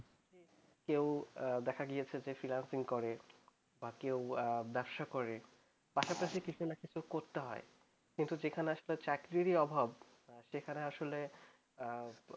কেউ দেখা গেছে যে ফ্রীলান্সিং করে কেউ হয়ত বাবসা করে আসা করি কিছু না কিছু করতে হয় যেখানে চাকরির অভাব